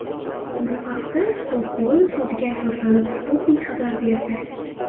Bu haqda Stokgolm sudiga asoslanib, Sputnik xabar berdi .